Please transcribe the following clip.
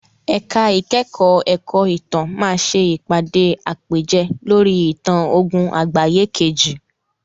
Ẹ̀ka ìkẹ́kọ̀ọ́ ẹ̀kọ́ ìtàn máa ṣe ìpàdé àpèjẹ lórí ìtàn ogún àgbáyé kejì.